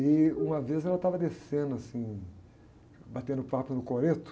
E, uma vez, ela estava descendo, assim, batendo papo no coreto.